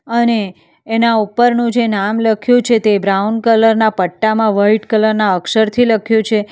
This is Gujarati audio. અને એના ઉપરનું જે નામ લખ્યું છે તે બ્રાઉન કલર ના પટ્ટામાં વાઈટ કલર ના અક્ષરથી લખ્યું છે.